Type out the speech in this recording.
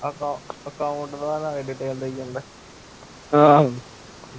account detail ਦਈ ਜਾਂਦਾ ਈ